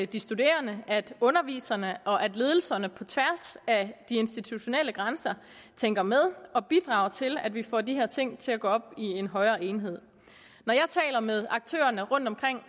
de studerende at underviserne og at ledelserne på tværs af de institutionelle grænser tænker med og bidrager til at vi får de her ting til at gå op i en højere enhed når jeg taler med aktørerne rundt omkring